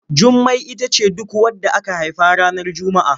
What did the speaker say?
Jummai ita ce duk wadda aka haifa ranar Juma'a.